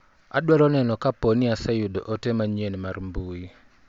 Adwaro neno kaponi aseyudo ote manyien mar mbui.